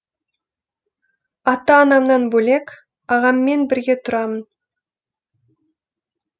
ата анамнан бөлек ағаммен бірге тұрамын